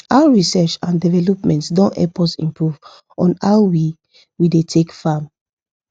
how research and development don help us improve on how we we dey take farm